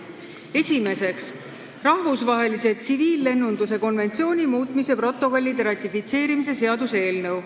Esimeseks, rahvusvahelise tsiviillennunduse konventsiooni muutmise protokollide ratifitseerimise seaduse eelnõu.